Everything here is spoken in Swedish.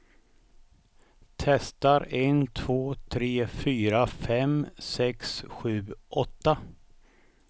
Testar en två tre fyra fem sex sju åtta.